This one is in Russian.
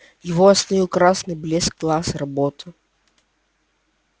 его остановил красный блеск глаз робота